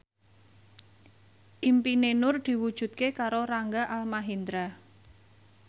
impine Nur diwujudke karo Rangga Almahendra